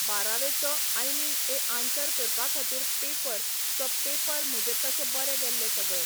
बारावेचो I mean a answer करपा खातीर paper so paper म्हजे तशे बरे गेल्ले सगळे.